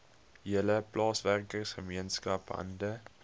hele plaaswerkergemeenskap hande